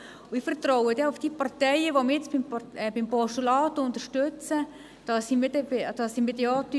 Ich vertraue auf die Parteien, die jetzt mein Postulat unterstützen, dass sie mich weiterhin unterstützen werden.